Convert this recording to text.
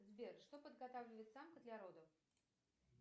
сбер что подготавливает самка для родов